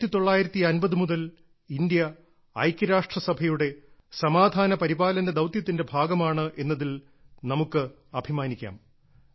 1950 മുതൽ ഇന്ത്യ ഐക്യരാഷ്ട്രസഭയുടെ സമാധാന പരിപാലന ദൌത്യത്തിന്റെ ഭാഗമാണ് എന്നതിൽ നമുക്ക് അഭിമാനിക്കാം